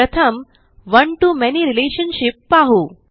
प्रथम one to many relationship पाहू